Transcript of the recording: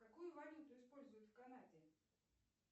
какую валюту используют в канаде